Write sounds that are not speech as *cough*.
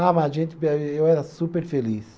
Ah, mas a gente *unintelligible* eu era super feliz.